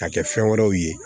K'a kɛ fɛn wɛrɛw ye